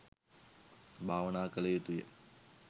භාවනා කළ යුතුය.